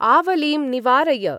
आवलिं निवारय।